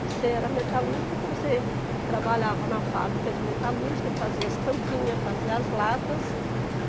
Você era metalúrgico, então você trabalhava na fábrica de metalúrgica, fazia as tampinhas, fazia as latas.